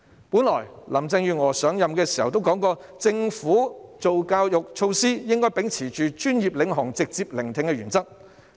本來林鄭月娥上任時曾表示，政府制訂教育措施時，應該秉持專業領航及直接聆聽的原則。